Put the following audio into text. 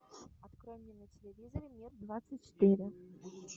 открой мне на телевизоре мир двадцать четыре